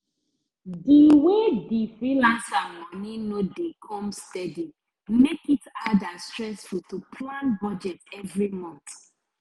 di way the freelancer money no dey come steady make it hard and stressful to plan budget every month